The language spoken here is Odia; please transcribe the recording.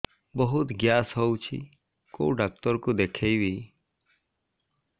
ବହୁତ ଗ୍ୟାସ ହଉଛି କୋଉ ଡକ୍ଟର କୁ ଦେଖେଇବି